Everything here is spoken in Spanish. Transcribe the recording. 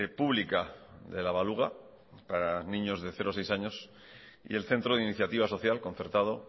pública de la baluga para niños de cero a seis años y el centro de iniciativa social concertado